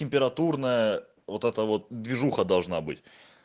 температурная вот это вот движуха должна быть